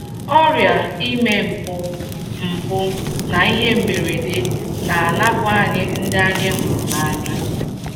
Ọrịa, ime mpụ, mpụ, na ihe mberede na - anapụ anyị ndị anyị hụrụ n’anya.